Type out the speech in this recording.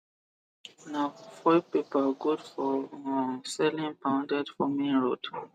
na foil paper good for um selling pounded for main road